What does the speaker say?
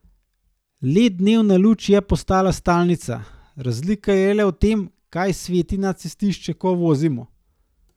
Led dnevna luč je postala stalnica, razlika je le v tem, kaj sveti na cestišče, ko vozimo.